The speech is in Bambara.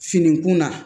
Fini kunna